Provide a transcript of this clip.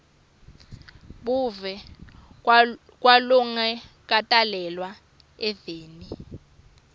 buve kwalongakatalelwa eveni